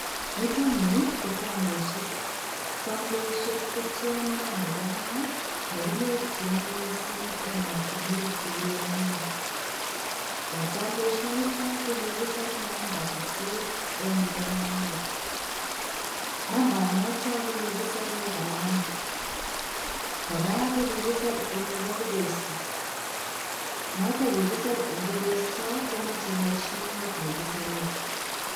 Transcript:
Nitoni ko tanbesiet. Tambesiet ko tiondo nebo kaa nekinyorjini missing emotunwek che kiyamnya. Eng' tambesio nito ko kikisir namba sisit eng yupo moet. Namba noto kokikisire kalamit. Kora kokikisir eng yubo kubesto. Moto kikisir eng kubesto komachei mashinit nekisirei.